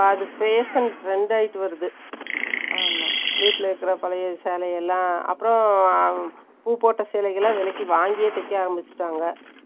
அது face and trend ஆயிட்டு வருது. ஆமா. வீட்டுல இருக்கிற, பழைய சேலை எல்லாம், அப்புறம், பூ போட்ட சேலைகளை, விலைக்கு வாங்கியே, தைக்க ஆரம்பிச்சுட்டாங்க